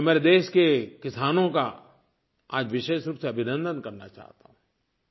लेकिन मैं मेरे देश के किसानों का आज विशेष रूप से अभिनंदन करना चाहता हूँ